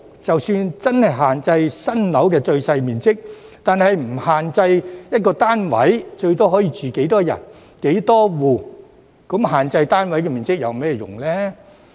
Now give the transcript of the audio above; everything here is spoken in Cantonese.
即使真的限制新建住宅單位的最小面積，若不限制每單位最多可住多少人、多少戶，那又有甚麼用呢？